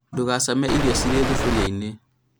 ndũgacame irio cirĩ thuburia-inĩ